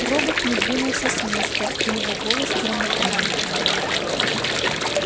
робот не двинулся с места и его голос громыхнул